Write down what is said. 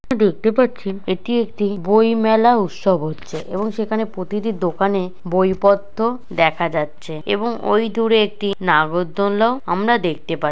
দেখতে পাচ্ছি এটি একটি বই মেলা উৎসব হচ্ছে এবং সেখানে প্রতিটি দোকানে বইপত্র দেখা যাচ্ছে এবং ঐ দুরে একটি নাগর দোলনাও আমরা দেখতে পাচ্ছি।